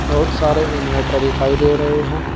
बहुत सारे इनवर्टर दिखाई दे रहे हैं।